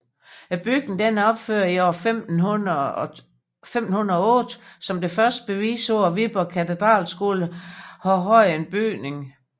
Bygningen er opført år 1508 som det første bevis på at Viborg Katedralskole har haft en bygning